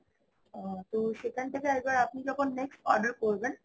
তো সেখান থেকে আরেকবার আপনি যখন next order করবেন